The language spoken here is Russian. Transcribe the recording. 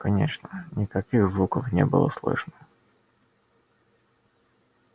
конечно никаких звуков не было слышно